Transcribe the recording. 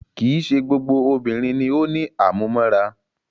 Kìí ṣe gbogbo obìnrin ni o ní àmúmóra.